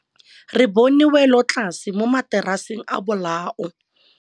Re bone wêlôtlasê mo mataraseng a bolaô.